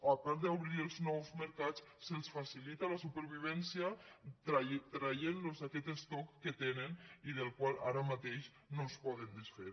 a part d’obrirlos nous mercats se’ls facilita la supervivència i se’ls treu aquest estoc que tenen i del qual ara mateix no es poden desfer